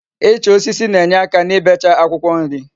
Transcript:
Icha osisi na-enyeaka n'ibecha Akwukwo nri